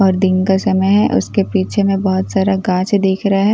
और दिन का समय हैं उसके पीछे में बहुत सारा घास ही दिख रहा हैं --